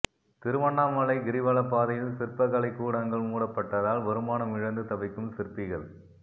திருவண்ணாமலை கிரிவலப்பாதையில் சிற்பக்கலை கூடங்கள் மூடப்பட்டதால் வருமானம் இழந்து தவிக்கும் சிற்பிகள்